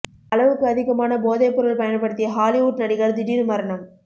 அளவுக்கு அதிகமான போதை பொருள் பயன்படுத்திய ஹாலிவுட் நடிகர் திடீர் மரணம்